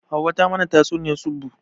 Hauwa ta mana tatsuniyar tsubu